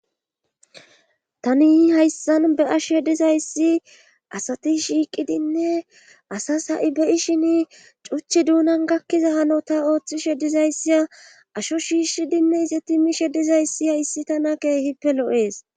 Tani hayssan be ashe dizayssi asati shiiqidinne asas ha7i be7i shin cuchi duunan gakkiza hanota ooththishe dizayssia asho shiishshidinne ize ti mishe dizayssi hayssi tana keehippe lo7ees.